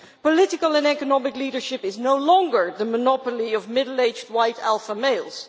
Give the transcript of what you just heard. Political and economic leadership is no longer the monopoly of middle aged white alpha males.